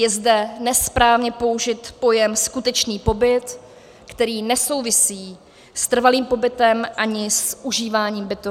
Je zde nesprávně použit pojem skutečný pobyt, který nesouvisí s trvalým pobytem ani s užíváním bytu.